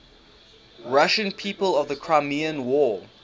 russian people of the crimean war